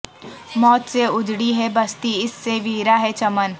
موت سے اجڑی ہیں بستی اس سے ویراں ہیں چمن